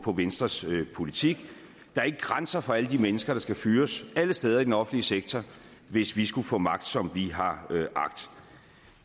om venstres politik der er ikke grænser for alle de mennesker der skal fyres alle steder i den offentlige sektor hvis vi skulle få magt som vi har agt